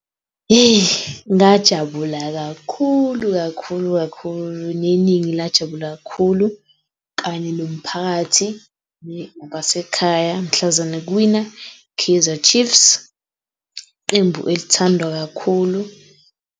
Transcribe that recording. Ngajabula kakhulu, kakhulu kakhulu neningi, lajabula kakhulu kanye nomphakathi nabasekhaya mhlazane kuwina i-Kaizer Chiefs iqembu elithandwa kakhulu.